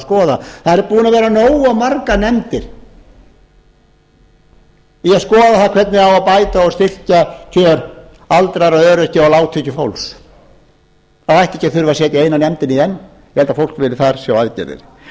skoða það eru búnir að vera nógu margar nefndir í að skoða það hvernig á að bæta og styrkja aldraða og öryrkja og lágtekjufólk það ætti ekki að þurfa að setja eina nefndina enn ég held að fólk vilji þar sjá aðgerðir þannig